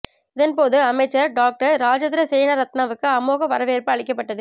இதன் போது அமைச்சர் டொக்டர் ராஜித சேனாரத்தனவுக்கு அமோக வரவேற்பு அளிக்கப்பட்டது